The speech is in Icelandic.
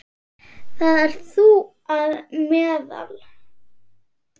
Þar ert þú á meðal.